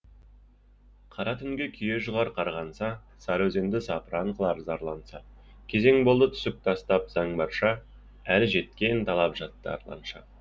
қара түнге күйе жұғар қарғанса сары өзенді запыран қылар зарланса кезең болды түсік тастап заң барша әлі жеткен талап жатты арланша